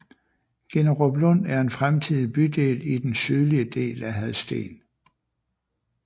Ginneruplund er en fremtidig bydel i den sydlige del af Hadsten